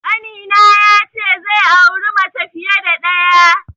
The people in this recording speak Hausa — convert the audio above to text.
Ƙanina ya ce zai auri mace fiye da ɗaya.